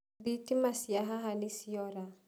Thitima cia haha nĩciora.